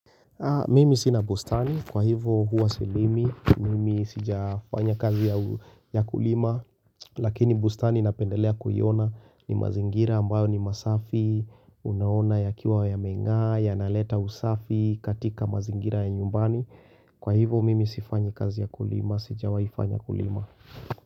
Mimi sina bustani, kwa hivo huwa silimi, mimi sija fanya kazi ya kulima, lakini bustani napendelea kuiona ni mazingira ambayo ni masafi, unaona ya kiwa ya meng'aa, ya naleta usafi katika mazingira ya nyumbani, kwa hivo mimi sifanyi kazi ya kulima, sija waifanya kulima.